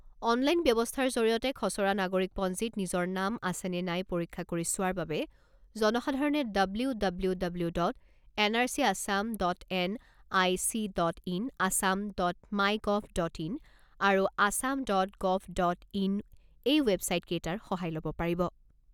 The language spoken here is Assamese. অনলাইন ব্যৱস্থাৰ জৰিয়তে খছৰা নাগৰিকপঞ্জীত নিজৰ নাম আছে নে নাই পৰীক্ষা কৰি চোৱাৰ বাবে জনসাধাৰণে W W W dot N R C Assam dot N I C dot in Assam dot my gov dot in আৰু Assam dot gov dot in এই ৱেবছাইট কেইটাৰ সহায় ল'ব পাৰিব।